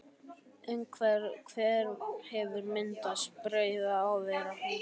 Umhverfis hverinn hefur myndast breiða af hverahrúðri.